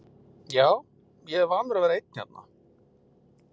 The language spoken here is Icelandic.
Já, ég er vanur að vera einn hérna.